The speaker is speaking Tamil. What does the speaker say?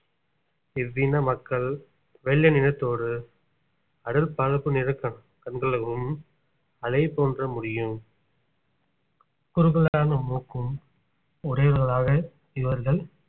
இவ்வின மக்கள் வெள்ளை நிறத்தோடு அடர்பழுப்பு நிற கண்~ கண்களோடும் அலை போன்ற முடியும் குறுகலான மூக்கும் உடையவர்களாக இவர்கள்